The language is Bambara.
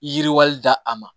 Yiriwali da a ma